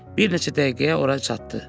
Bir neçə dəqiqəyə ora çatdı.